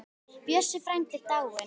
Bjössi frændi er dáinn.